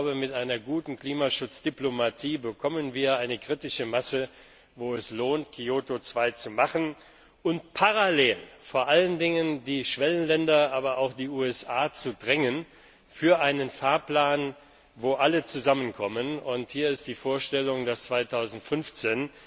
Ich glaube, mit einer guten Klimaschutzdiplomatie bekommen wir eine kritische Masse, wo es sich lohnt, Kyoto II zu machen und parallel vor allen Dingen die Schwellenländer, aber auch die USA, zu einem Fahrplan zu drängen, wo alle zusammenkommen. Hier ist die Vorstellung, dass dann 2015